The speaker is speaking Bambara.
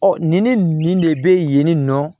nin ni ne nin nin de bɛ yen nin nɔ